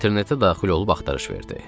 İnternetə daxil olub axtarış verdi.